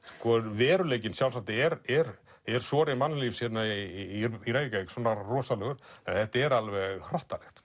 veruleikinn sjálfsagt er er er sori mannlífs hérna í í Reykjavík svona rosalegur en þetta er alveg hrottalegt